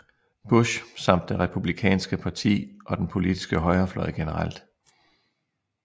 Bush samt det Republikanske parti og den politiske højrefløj generelt